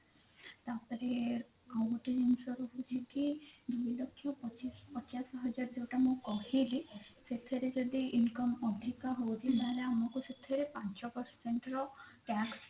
ତାପରେ ଆଉ ଗୋଟେ ଜିନିଷ ରହୁଛି କି ଦି ଲକ୍ଷ ପଚିଶ ପଚାଶ ହଜାର ମୁଁ ଯୋଉଟା କହିଲି ସେଥିରେ ଯଦି income ଅଧିକ ହୋଉଥିବ ଆମକୁ ସେଥିରେ ପାଞ୍ଚ percent ର tax